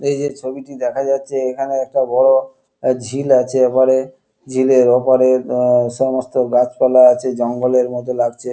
এই যে ছবিটি দেখা যাচ্ছে এখানে একটা বড় এ ঝিল আছে এপারে। ঝিলের ওপারে উহ সমস্ত গাছপালা আছে জঙ্গলের মতো লাগছে।